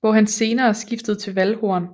hvor han senere skiftede til valdhorn